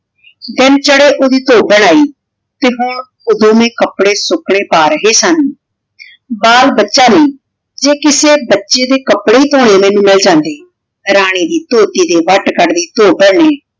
ਦਿਨ ਚਢ਼ੀ ਓੜੀ ਧੋਬਨ ਆਈ ਤੇ ਹਨ ਊ ਦੋਵੇਂ ਕਪਰੇ ਸੁਕਨ੍ਯ ਪਾ ਰਹੀ ਸਨ ਬਾਲ ਬਚਾ ਵੀ ਜੇ ਕਿਸੇ ਬਚੀ ਦੇ ਕਪਰੇ ਧੋਨੀ ਮਿਲ ਜਾਂਦੇ ਰਾਨੀ ਵੀ ਧੋਬੀ ਘਟ ਦੀ ਭੋਬਨ ਵੀ